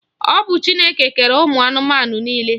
Ọ bụ Chineke kere ụmụ anụmanụ niile.